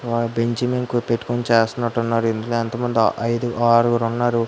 Bench మీద పెట్టుకొని చేస్తున్నారు ఇందులో ఎంతమంది ఐదు ఆరుగురు ఉన్నారు.